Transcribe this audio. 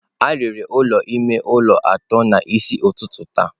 A rere ụlọ ime ụlọ atọ n'isi ụtụtụ taa